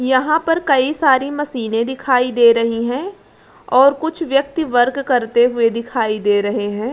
यहाँ पर कई सारे मशीनें दिखाई दे रही हैं और कुछ व्यक्ति वर्क करते दिखाई दे रहे हैं।